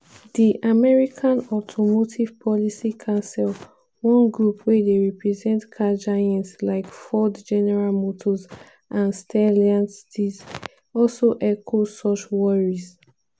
di american automotive policy council one group wey dey represent car giants like ford general motors and stellantis also echo suchworries.